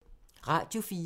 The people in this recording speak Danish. Radio 4